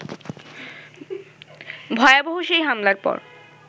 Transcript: ভয়াবহ সেই হামলার পর